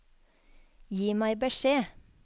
Gi meg beskjed